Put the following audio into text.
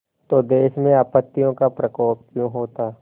तो देश में आपत्तियों का प्रकोप क्यों होता